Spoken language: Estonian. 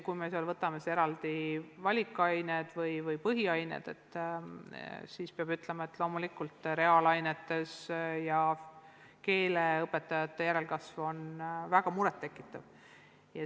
Kui me võtame sealt eraldi valikained või põhiained, siis peab ütlema, et loomulikult reaalainete õpetajate ja keeleõpetajate järelkasv on väga muret tekitav.